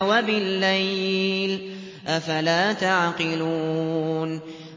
وَبِاللَّيْلِ ۗ أَفَلَا تَعْقِلُونَ